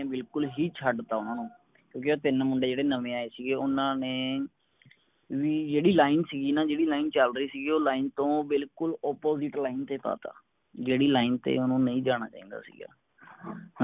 ਬਿਲਕੁਲ ਹੀ ਛੱਡਤਾ ਓਹਨਾਂ ਨੂੰ ਕਿਓਂਕਿ ਉਹ ਤਿਨ ਮੁੰਡੇ ਜੇਡੇ ਨਵੇਂ ਆਏ ਸੀ ਓਹਨਾਂ ਨੇਂ ਵੀ ਜੇਡੀ line ਸਿਗੀ ਨਾ ਜੇਡੀ line ਚੱਲਦੇ ਸਿਗੇ ਓਹ line ਤੋਂ ਬਿਲਕੁਲ opposite line ਤੇ ਪਾਤਾ, ਜੇੜੀ line ਤੇ ਓਹਨੂੰ ਨਹੀਂ ਜਾਨਾ ਚਾਹੀਦਾ ਸੀਗਾ